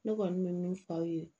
Ne kɔni bɛ min fɔ aw ye